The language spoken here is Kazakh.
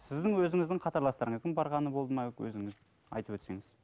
сіздің өзіңіздің қатарластарыңыздың барғаны болды ма өзіңіз айтып өтсеңіз